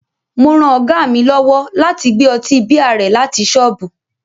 Mo ran Ọ̀gá mi lọ́wọ́ láti gbé ọtí bíà rẹ láti ṣọ́ọ̀bù